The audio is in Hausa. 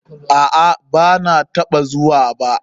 Aa, banataɓa zuwa ba.